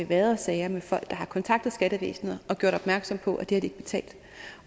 været sager med folk der har kontaktet skattevæsenet og gjort opmærksom på at det ikke betalt